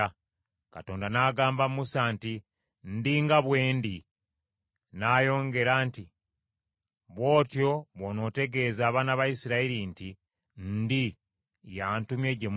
Katonda n’agamba Musa nti, “ Ndi nga bwe Ndi ,” n’ayongera nti, “Bw’otyo bw’onootegeeza abaana ba Isirayiri nti, ‘ Ndi y’antumye gye muli.’ ”